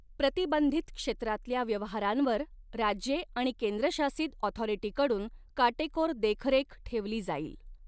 प्रतिबंधित क्षेत्रातल्या व्यवहारांवर राज्ये आणि केंद्र शासित ऑथॉरिटी कडून काटेकोर देखरेख ठेवली जाईल.